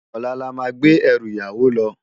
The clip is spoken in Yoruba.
Òlá lá má gbé èrú iyàwó lò